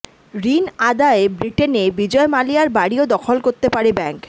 ঋণ আদায়ে ব্রিটেনে বিজয় মালিয়ার বাড়িও দখল করতে পারে ব্যাঙ্ক